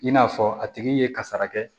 I n'a fɔ a tigi ye kasara kɛ